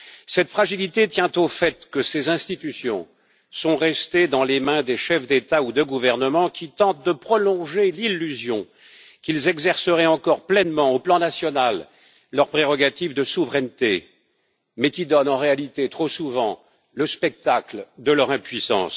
Cette fragilité tient au fait que ses institutions sont restées dans les mains des chefs d'État ou de gouvernement qui tentent de prolonger l'illusion qu'ils exerceraient encore pleinement, sur le plan national, leur prérogative de souveraineté, mais qui donnent en réalité trop souvent le spectacle de leur impuissance.